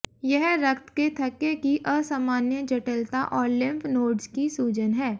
यह रक्त के थक्के की असामान्य जटिलता और लिम्फ नोड्स की सूजन है